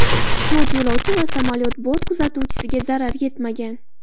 To‘rt yo‘lovchi va samolyot bort kuzatuvchisiga zarar yetmagan.